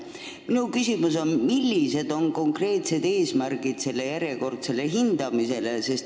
Mis on selle järjekordse hindamise konkreetsed eesmärgid?